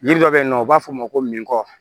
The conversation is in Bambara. Yiri dɔ bɛ yen nɔ u b'a fɔ ma ko min kɔ